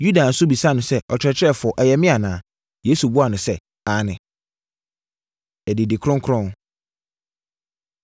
Yuda nso bisaa no sɛ, “Ɔkyerɛkyerɛfoɔ, ɛyɛ me anaa?” Yesu buaa no sɛ, “Aane.” Adidi Kronkron